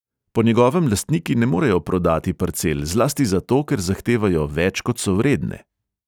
Po njegovem lastniki ne morejo prodati parcel zlasti zato, ker zahtevajo več, kot so vredne.